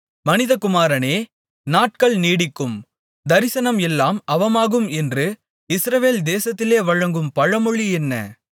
மனிதகுமாரனே நாட்கள் நீடிக்கும் தரிசனம் எல்லாம் அவமாகும் என்று இஸ்ரவேல் தேசத்திலே வழங்கும் பழமொழி என்ன